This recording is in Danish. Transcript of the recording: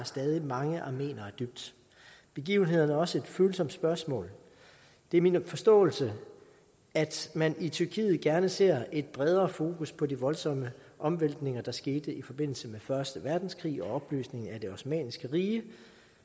stadig mange armeniere dybt begivenhederne er også et følsomt spørgsmål det er min forståelse at man i tyrkiet gerne ser et bredere fokus på de voldsomme omvæltninger der skete i forbindelse med første verdenskrig og opløsningen af det osmanniske rige